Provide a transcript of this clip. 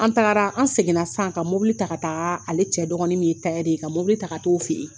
An taara an seginna san ka mobili ta ka taa ale cɛ dɔgɔnin min ye ye ka mobili ta ka taa' t'o fɛ yen